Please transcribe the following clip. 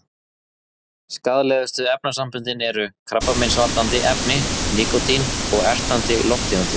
Skaðlegustu efnasamböndin eru: krabbameinsvaldandi efni, nikótín og ertandi lofttegundir.